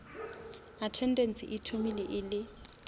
attendance e thomile e le